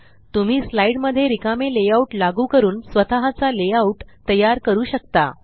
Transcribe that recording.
तुम्ही तुमच्या स्लाइड मध्ये रिकामे लेआउट लागू करू शकता आणि स्वतःचा लेआउट तयार करू शकता